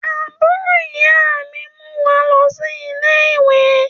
Àbúrò ìyá mi ń mú wá lọ sí ilé-ìwé